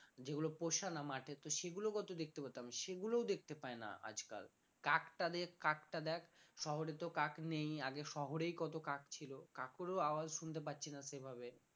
যেগুলো পোষা না মাঠে তো সেগুলো কত দেখতে পেতাম সেগুলোও দেখতে পাই না আজকাল কাকটা কাকটা দেখ শহরে তো কাক নেই আগে শহরেই কত কাক ছিল কাকেরও আওয়াজ শুনতে পাচ্ছি না সেভাবে